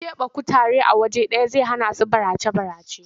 Ƙeɓe kutare a waje ɗaya zai hanasu barace-barace.